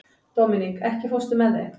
Dominik, ekki fórstu með þeim?